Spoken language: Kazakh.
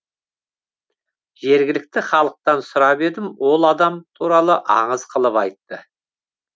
жергілікті халықтан сұрап едім ол адам туралы аңыз қылып айтты